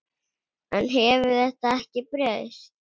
En hefur þetta ekki breyst?